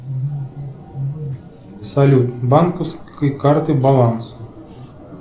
салют банковской карты баланс